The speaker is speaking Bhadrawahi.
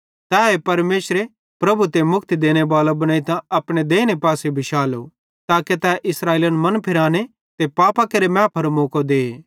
तैए परमेशरे प्रभु ते मुक्ति देनेबालो बनेइतां अपने देइने पासे बिशालो ताके तै इस्राएलिन मन फिराने ते पापां केरि मैफारो मौको दे